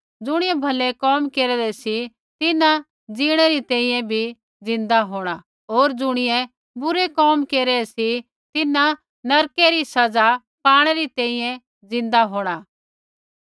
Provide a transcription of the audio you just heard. ज़ुणियै भलै कोम केरेदै सी तिन्हां जिणै री तैंईंयैं भी ज़िन्दा होंणा होर ज़ुणियै बुरै कोम केरै सी तिन्हां नरकै री सज़ा पाणै री तैंईंयैं ज़िन्दा होंणा